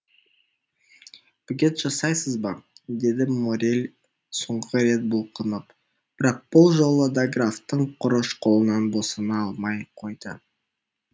бөгет жасайсыз ба деді моррель соңғы рет бұлқынып бірақ бұл жолы да графтың құрыш қолынан босана алмай қойды